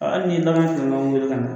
Aa hali ni ye bagan wele ka na